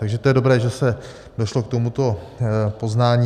Takže to je dobré, že se došlo k tomuto poznání.